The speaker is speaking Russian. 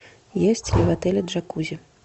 есть ли в отеле джакузи